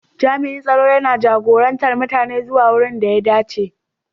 Jami'in tsaro yana jagorantar mutane zuwa wurin da ya dace.